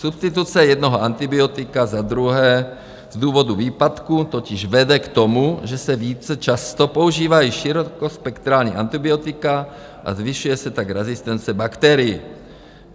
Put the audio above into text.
Substituce jednoho antibiotika za druhé z důvodu výpadku totiž vede k tomu, že se více často používají širokospektrální antibiotika a zvyšuje se tak rezistence bakterií.